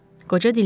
Qoca dinləndi.